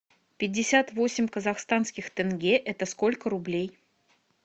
пятьдесят восемь казахстанских тенге это сколько рублей